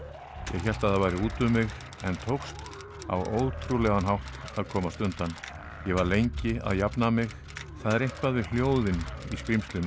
ég hélt það væri út um mig en tókst á ótrúlegan hátt að komast undan ég var lengi að jafna mig það er eitthvað við hljóðin í skrímslinu